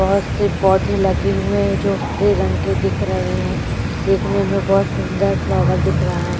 बहुत से पौधे लगे हुए हैं जो हरे रंग के दिख रहे हैं देखने में बहुत सुंदर फ्लावर दिख रहा है।